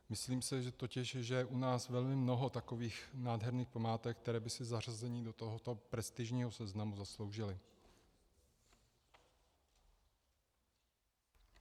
Myslím si totiž, že je u nás velmi mnoho takových nádherných památek, které by si zařazení do tohoto prestižního seznamu zasloužily.